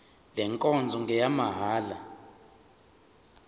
le nkonzo ngeyamahala